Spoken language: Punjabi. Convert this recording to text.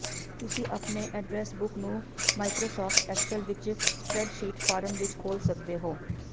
ਤੁਸੀਂ ਆਪਣੀ ਐਡਰੈੱਸ ਬੁੱਕ ਨੂੰ ਮਾਈਕਰੋਸਾਫਟ ਐਕਸਲ ਵਿੱਚ ਸਪ੍ਰੈਡਸ਼ੀਟ ਫਾਰਮ ਵਿੱਚ ਖੋਲ੍ਹ ਸਕਦੇ ਹੋ